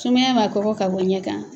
Sumaya b'a kɔkɔ ka bon ɲɛ kan.